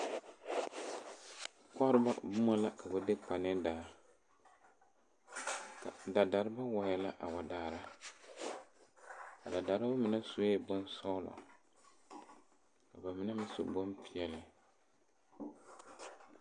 Koɔreba boma la ka ba de kpe ne daa. Ka dadareba wae la a wa daara. A dafareba mene sue bon sɔglɔ ka ba mene meŋ su bon piɛle